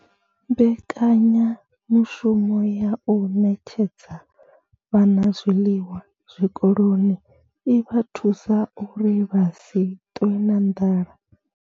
Mbekanyamushumo ya u ṋetshedza vhana zwiḽiwa zwikoloni i vha thusa uri vha si ṱwe na nḓala.